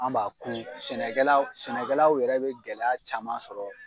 An b'a ku. sɛnɛkɛlaw sɛnɛkɛlaw yɛrɛ be gɛlɛya caman sɔrɔ